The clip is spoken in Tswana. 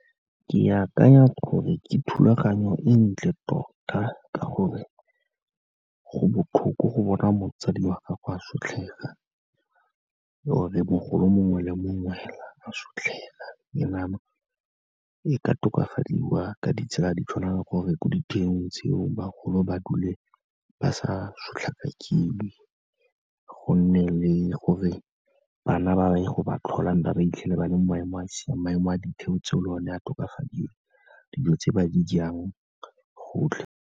Ke akanya gore ke thulaganyo e ntle tota ka gore, go botlhoko go bona motsadi wa gago a sotlhega or-e mogolo mongwe le mongwe fela a sotlhega. E ka tokafadiwa ka ditsela di tshwana le gore ko ditheong tseo bagolo ba dule ba sa sotlhakakiwe, go nne le gore bana ba ba ye go ba tlhola and-e ba ba 'itlhele ba le mo maemong a siameng, maemo a ditheo tseo le one a tokafadiwe, dijo tse ba di jang, gotlhe.